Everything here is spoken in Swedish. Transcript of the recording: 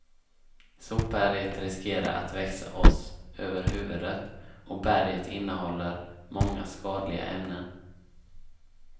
Sopberget riskerar att växa oss över huvudet och berget innehåller många skadliga ämnen.